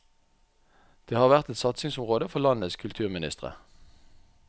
Det har vært et satsingsområde for landenes kulturministre.